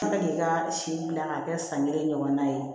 An bɛ k'i ka si dilan k'a kɛ san kelen ɲɔgɔnna ye